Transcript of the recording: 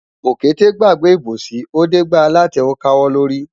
Òkété gbàgbé ìbòsí, ó dé gbá alátẹ ó káwọ́ lórí.